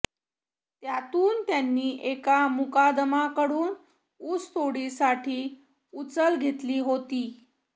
त्यातून त्यांनी एका मुकादमाकडून ऊसतोडीसाठी उचल घेतली होती